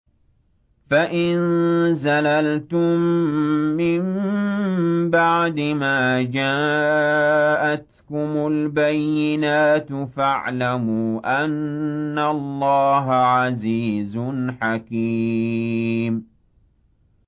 فَإِن زَلَلْتُم مِّن بَعْدِ مَا جَاءَتْكُمُ الْبَيِّنَاتُ فَاعْلَمُوا أَنَّ اللَّهَ عَزِيزٌ حَكِيمٌ